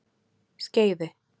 Skeiði